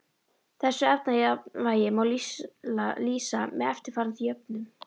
Þessu efnajafnvægi má lýsa með eftirfarandi jöfnum